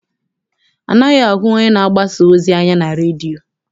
Anaghị ahụ onye na-agbasa ozi anya na redio.